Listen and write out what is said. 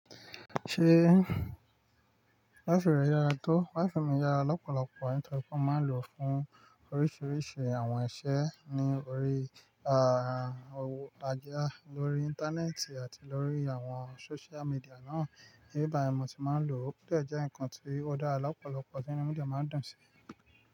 Ṣé waifi rẹ yára tó? Waifu mi yára. Lopọ̀lọpọ̀ nitoripe mo máa ń lò fún oríṣiríṣi àwọn iṣẹ́ ní orí, àà, òwú ajá lórí Íńtánẹ́ẹ̀tì àti lórí àwọn social media náà. Ibi bayii ni mo ti máa ń lò, ò de je nǹkan tí ọ̀ da lọ́pọ̀lọpọ̀ tí inú mí ḍe máa ń dùn sí.